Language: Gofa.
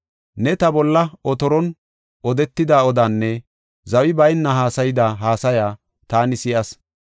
Ne ta bolla otoron odetida odaanne zawi bayna haasayida haasaya taani si7as.